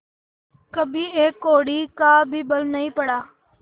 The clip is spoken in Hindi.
कभी एक कौड़ी का भी बल नहीं पड़ा